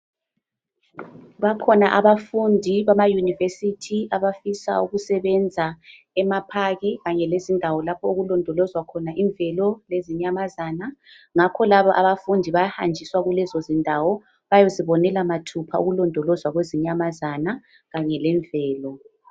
Bakhona abafundi bamaYunivesithi abafisa ukusebenza emaPark kanye lezindawo lapho okulondolozwa khona imvelo lezinyamazana ngakho labo abafundi bayahanjiswa kulezo zindawo bayezibonela mathupha ukulondolozwa kwezinyamazana kanye lemvelo.